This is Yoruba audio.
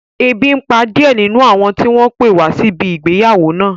Ebi n pa díẹ̀ nínú àwọn tí wọ́n pé wá síbi ìgbéyàwó náà